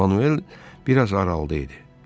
Manuel bir az aralı idi.